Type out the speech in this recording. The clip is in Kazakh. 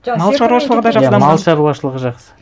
мал шаруашылығы да жақсы иә мал шаруашылығы жақсы